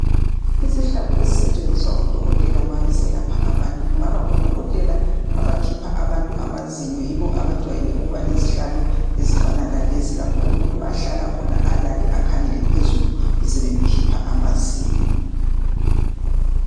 Isihlalo esisetshenziswa ngodokotela ma beselapha abantu .Kungaba ngodokotela abakhipha abantu amazinyo .Yibo abajwayele ukuba lezihlalo ezifana lalezi ,lapho umuntu ahlala khona alale akhangele phezulu .besebemkhipha amazinyo.